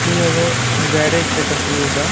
ई एगो गैरेज के तस्वीर बा।